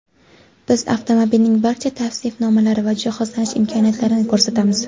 Biz avtomobilning barcha tavsifnomalari va jihozlanish imkoniyatlarini ko‘rsatamiz.